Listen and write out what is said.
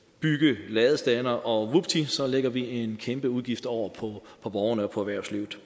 bygge ladestandere og vupti lægger vi en kæmpe udgift over på borgerne og på erhvervslivet